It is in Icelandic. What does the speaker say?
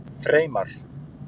Freymar